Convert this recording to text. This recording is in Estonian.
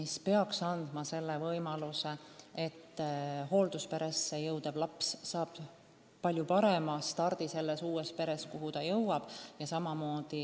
See peaks tagama, et hooldusperesse jõudnud laps saab selles uues peres, kuhu ta jõuab, palju parema stardi.